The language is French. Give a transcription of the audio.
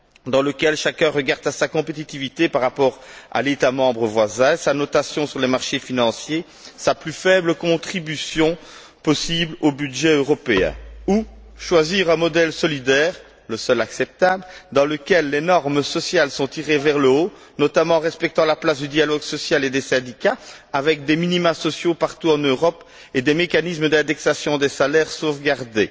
soi, dans lequel chacun regarde à sa compétitivité par rapport à l'État membre voisin, sa notation sur les marchés financiers, sa plus faible contribution possible au budget européen, ou choisir un modèle solidaire le seul acceptable dans lequel les normes sociales sont tirées vers le haut, notamment en respectant la place du dialogue social et des syndicats, avec des minima sociaux partout en Europe et des mécanismes d'indexation des salaires sauvegardés,